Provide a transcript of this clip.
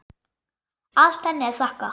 Allt henni að þakka.